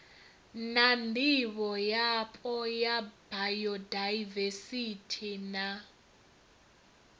na ndivhoyapo ya bayodaivesithi na